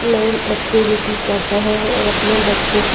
playing activity कर रहे हैं और अपने बच्चों क --